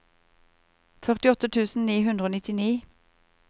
førtiåtte tusen ni hundre og nittini